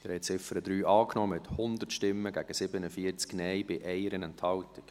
Sie haben die Ziffer 3 angenommen, mit 100 Ja- gegen 47 Nein-Stimmen bei 1 Enthaltung.